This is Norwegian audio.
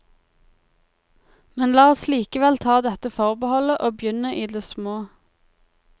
Men la oss likevel ta dette forbeholdet, og begynne i det små.